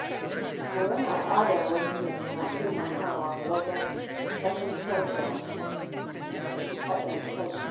Koyon al’adar wasu na taimakawa wajen fahimta da haɗin kai.